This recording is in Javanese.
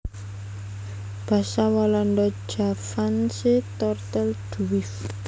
Basa Walanda Javaanse Tortelduif